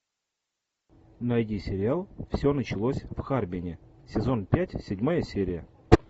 найди сериал все началось в харбине сезон пять седьмая серия